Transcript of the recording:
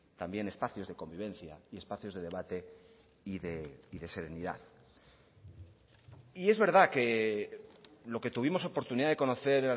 también espacios de convivencia y espacios de debate y de serenidad y es verdad que lo que tuvimos oportunidad de conocer